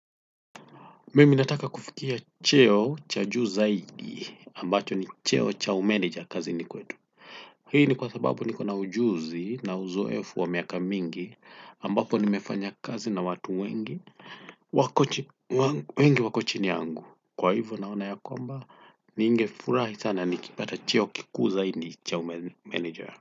Mimi nataka kufikia cheo cha juu zaidi ambacho ni cheo cha umenija kazini kwetu. Hii ni kwa sababu niko na ujuzi na uzoefu wa miaka mingi ambapo nimefanya kazi na watu wengi wako chini yangu. Kwa hivyo naona ya kwamba ninge furahi sana nikipata cheo kikuu zaidi cha umenija.